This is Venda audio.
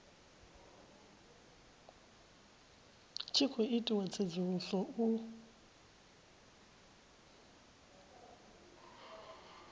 tshi khou itiwa tsedzuluso u